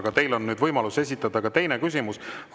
Aga teil on nüüd võimalus esitada ka teine küsimus.